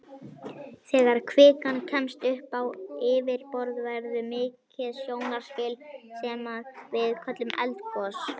Þegar kvikan kemst upp á yfirborð verður mikið sjónarspil sem að við köllum eldgos.